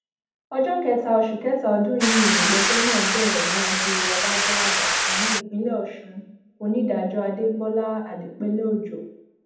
ọjọ kẹta oṣù kẹta ọdún yìí nìgbẹjọ náà bẹrẹ níwájú adájọ àgbà fún ìpínlẹ ọṣun onídàájọ àdèbọlá àdèpéleòjò